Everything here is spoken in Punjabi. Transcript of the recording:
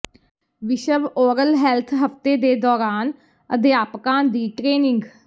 ਵਿਸ਼ਵ ਓਰਲ ਹੈਲਥ ਹਫ਼ਤੇ ਦੇ ਦੌਰਾਨ ਅਧਿਆਪਕਾਂ ਦੀ ਟਰੇਨਿੰਗ